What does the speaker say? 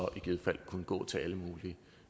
i givet fald kunne gå til alle mulige